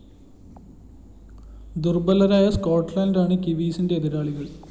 ദുര്‍ബലരായ സ്‌കോട്ട്‌ലന്റാണ് കിവീസിന്റെ എതിരാളികള്‍